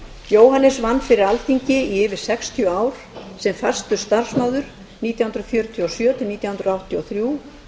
jóhannes vann fyrir alþingi í yfir sextíu ár sem fastur starfsmaður nítján hundruð fjörutíu og sjö til nítján hundruð áttatíu og þrjú